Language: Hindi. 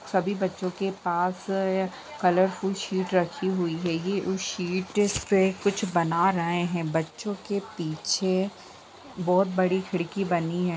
सभी बच्चों के पास अ कलरफुल शीट रखी हुई है ये उस शीट पे कुछ बना रहे है बच्चो के पीछे बहोत बड़ी खिड़की बनी हुई है।